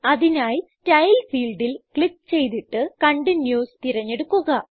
അതിനായി സ്റ്റൈൽ ഫീൽഡിൽ ക്ലിക്ക് ചെയ്തിട്ട് കണ്ടിന്യൂസ് തിരഞ്ഞെടുക്കുക